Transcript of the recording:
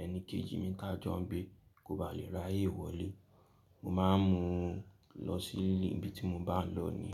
ẹni kejì mí ta jọ ń gbé kò bá lè ráyè wọlé. Mo máa ń mu ú lọ sílé ibi tí mo bá lọ ni.